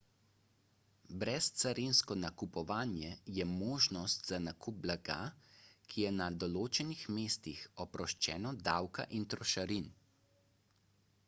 brezcarinsko nakupovanje je možnost za nakup blaga ki je na določenih mestih oproščeno davka in trošarin